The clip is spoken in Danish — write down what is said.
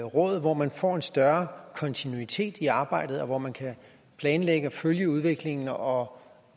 råd hvor man kan få en større kontinuitet i arbejdet og hvor man kan planlægge og følge udviklingen og